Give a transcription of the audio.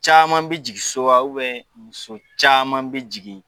Caman bɛ jigin so wa muso caman bɛ jigin